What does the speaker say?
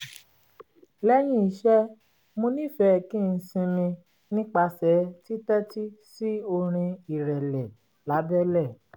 lẹ́yìn iṣẹ́ mo nífẹ̀ẹ́ kí n sinmi nípasẹ̀ títẹ́tí sí orin ìrẹ̀lẹ̀ lábẹ́lẹ̀